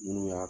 Minnu y'a